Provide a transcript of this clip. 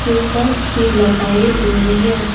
Tubelights भी लगाए हुए हैं।